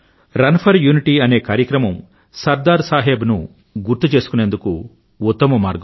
run for unity అనే కార్యక్రమం సర్దార్ సాహెబ్ ను గుర్తుచేసుకుందుకు ఉత్తమ మార్గం